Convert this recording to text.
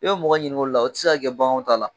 U bɛ mɔgɔ ɲininga olu la, o tɛ se ka kɛ baganw ta la.